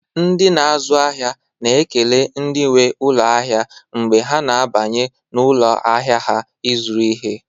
Ndị na-azụ ahịa na-ekele ndị nwe ụlọ ahịa mgbe ha na-abanye n'ụlọ ahịa ha ịzụrụ ihe.